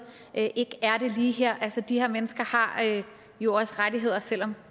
ikke er det lige her de her mennesker har jo også rettigheder selv om